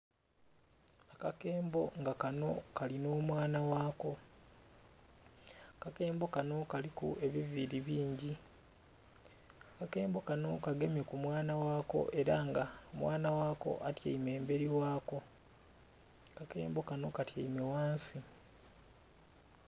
Akakembo nga kano kali nh'omwana ghako. Akakembo kano kaliku ebiviili bingi. Akakembo kano kagemye ku mwana ghako ela nga mwana ghako atyaime embeli ghako. Akakembo kano katyaime ghansi.